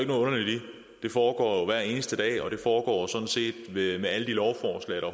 noget underligt i det foregår hver eneste dag og det foregår sådan set med med alle de lovforslag der